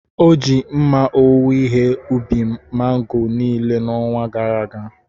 O ji mma owuwe ihe ubi mango niile n’ọnwa gara aga.